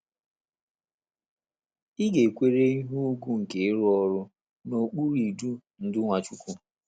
Ị̀ ga - ekwere ihe ùgwù nke ịrụ ọrụ n’okpuru idu ndú Nwachukwu?